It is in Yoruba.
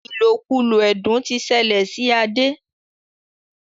ilokulo ẹdun tí ṣẹlẹ sí Ade.